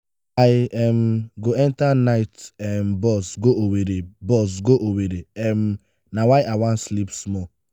i um go enta night um bus go owerri bus go owerri um na why i wan sleep small.